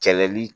Kɛlɛli